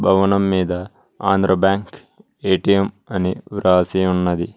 భవనం మీద Andhra bank A T M అని వ్రాసి ఉన్నది.